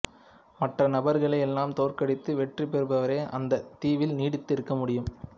மற்ற நபர்களை எல்லாம் தோற்கடித்து வெற்றி பெறுபவரே அந்த தீவில் நீடித்து இருக்க முடியும்